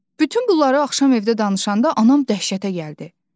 Bütün bunları axşam evdə danışanda anam dəhşətə gəldi.